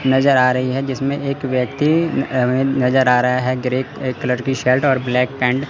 नजर आ रही है जिसमें एक व्यक्ति अह नजर आ रहा है ग्रे कलर की शर्ट और ब्लैक पैंट --